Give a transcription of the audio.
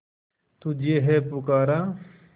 तुझे है पुकारा